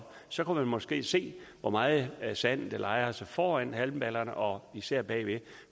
så kunne man måske se hvor meget sand der lejrer sig foran halmballerne og især bagved